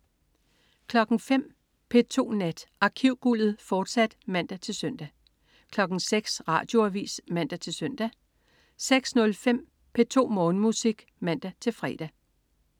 05.00 P2 Nat. Arkivguldet, fortsat (man-søn) 06.00 Radioavis (man-søn) 06.05 P2 Morgenmusik (man-fre)